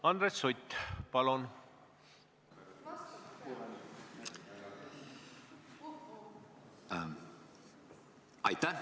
Andres Sutt, palun!